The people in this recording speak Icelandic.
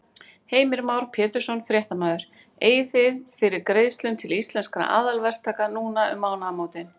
Heimir Már Pétursson, fréttamaður: Eigið þið fyrir greiðslum til Íslenskra aðalverktaka núna um mánaðamótin?